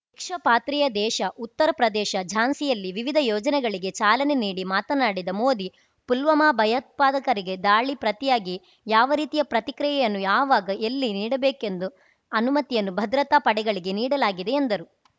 ಭಿಕ್ಷಾಪಾತ್ರೆಯ ದೇಶ ಉತ್ತರಪ್ರದೇಶ ಝಾನ್ಸಿಯಲ್ಲಿ ವಿವಿಧ ಯೋಜನೆಗಳಿಗೆ ಚಾಲನೆ ನೀಡಿ ಮಾತನಾಡಿದ ಮೋದಿ ಪುಲ್ವಾಮಾ ಭಯೋತ್ಪಾದಕರಿಗೆ ದಾಳಿ ಪ್ರತಿಯಾಗಿ ಯಾವ ರೀತಿಯ ಪ್ರತಿಕ್ರಿಯೆಯನ್ನು ಯಾವಾಗ ಎಲ್ಲಿ ನೀಡಬೇಕೆಂದು ಅನುಮತಿಯನ್ನು ಭದ್ರತಾ ಪಡೆಗಳಿಗೇ ನೀಡಲಾಗಿದೆ ಎಂದರು